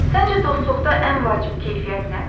Səncə dostluqda ən vacib keyfiyyət nədir?